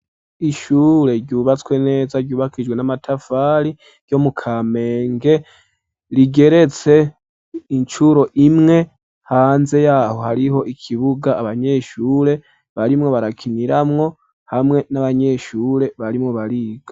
Ishure ryubatswe neza ryubakishijwe n'amatafari yo mu kamenge rigeretse incuro imwe, hanze yaho hariho ikibuga abanyeshure barimwo barakiniramwo hamwe n'abanyeshure barimwo bariga.